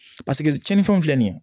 Paseke tiɲɛnifɛnw filɛ nin ye